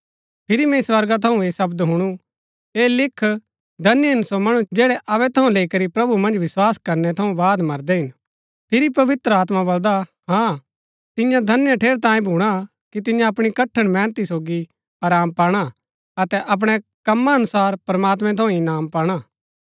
फिरी मैंई स्वर्गा थऊँ ऐह शब्द हुणु ऐह लिख धन्य हिन सो मणु जैड़ै अबै थऊँ लैई करी प्रभु मन्ज विस्वास करनै थऊँ बाद मरदै हिन फिरी पवित्र आत्मा बलदा हाँ तिन्या धन्य ठेरैतांये भूणा कि तिन्या अपणी कठण मेहनत सोगी आराम पाणा अतै अपणै कमा अनुसार प्रमात्मैं थऊँ इनाम पाणा